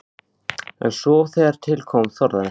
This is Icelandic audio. En svo þegar til kom þorði hann ekki.